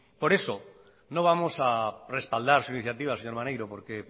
por eso no vamos a respaldar su iniciativa señor maneiro porque